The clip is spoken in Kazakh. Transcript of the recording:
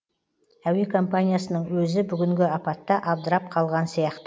әуе компаниясының өзі бүгінгі апатта абдырап қалған сияқты